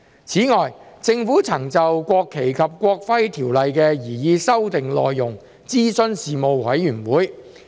此外，政府曾就《國旗及國徽條例》的擬議修訂內容諮詢事務委員會。